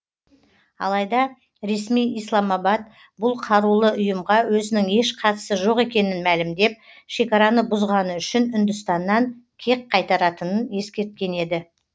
алайда ресми исламабад бұл қарулы ұйымға өзінің еш қатысы жоқ екенін мәлімдеп шекараны бұзғаны үшін үндістаннан кек қайтаратынын ескерткен еді